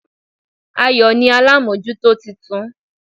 Ayò ni alámójútó titun